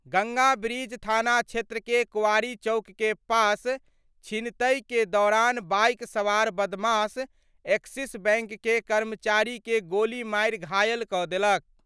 Ganga bridge थाना क्षेत्र के कोआरी चौक के पास छीनतई के दौरान बाइक सवार बदमाश एक्सिस बैंक के कर्मचारी के गोली मारि घायल क' देलक।